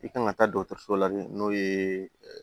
I kan ka taa dɔgɔtɔrɔso la n'o ye